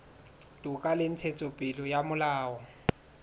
toka le ntshetsopele ya molao